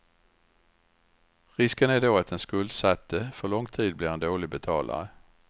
Risken är då att den skuldsatte för lång tid blir en dålig betalare.